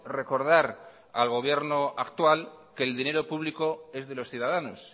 recordar al gobierno actual que el dinero público es de los ciudadanos